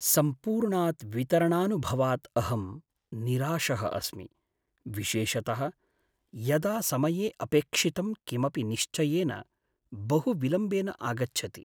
सम्पूर्णात् वितरणानुभवात् अहं निराशः अस्मि, विशेषतः यदा समये अपेक्षितं किमपि निश्चयेन बहुविलम्बेन आगच्छति।